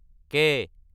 কে